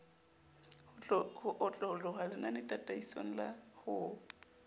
ho otloloha lenanetataisong la ho